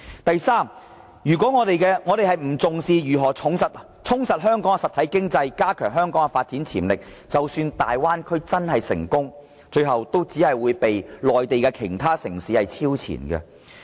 第三，如果我們不重視如何充實香港的實體經濟，加強香港的發展潛力，即使大灣區真的成功，最後也只會被內地的其他城市超前。